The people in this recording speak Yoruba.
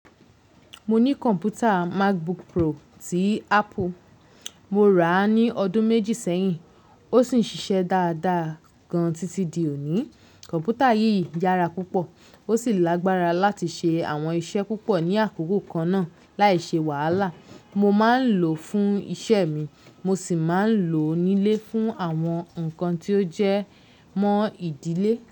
Mo ní kọ̀npútà Macbook Pro tí Apple. Mo rà á ní ọdún méjì sẹ́yìn ó sì ń ṣiṣẹ́ dáadáa gan-an títí di òní. Kọ̀npútà yìí yára púpọ̀ ó sì lágbára láti ṣe àwọn iṣẹ́ púpọ̀ ní àkókò kan náà láì ṣe wàhálà. Mo máa ń lò ó fún iṣẹ́ mi mo sì máa ń lò ó nílé fún àwọn nǹkan tí ó jẹ́ mọ́ ìdílé.